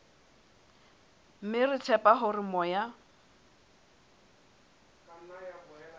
mme re tshepa hore moya